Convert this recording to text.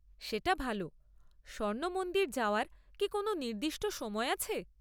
সেটা ভাল। স্বর্ণ মন্দির যাওয়ার কি কোনও নির্দিষ্ট সময় আছে?